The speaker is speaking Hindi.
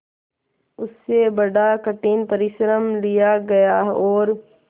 उससे बड़ा कठिन परिश्रम लिया गया और